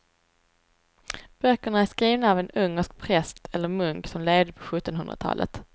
Böckerna är skrivna av en ungersk präst eller munk som levde på sjuttonhundratalet.